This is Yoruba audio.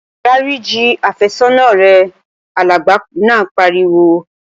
Dáríji àfẹ́sọ́nà rẹ! Alàgbà náà pariwo